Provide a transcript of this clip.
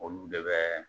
Olu de bɛ